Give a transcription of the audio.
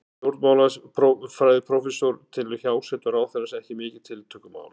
Stjórnmálafræðiprófessor telur hjásetu ráðherrans ekki mikið tiltökumál.